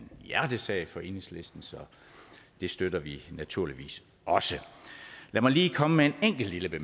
hjertesag for enhedslisten så det støtter vi naturligvis også lad mig lige komme med en enkelt lille